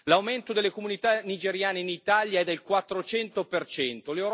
L'aumento delle comunità nigeriane in Italia è del 400 per cento.